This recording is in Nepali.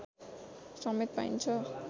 समेत पाइन्छ